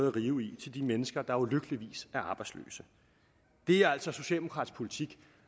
at rive i til de mennesker der ulykkeligvis er arbejdsløse det er altså socialdemokratisk politik